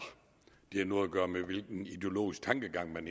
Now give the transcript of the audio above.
har noget at gøre med hvilken ideologisk tankegang man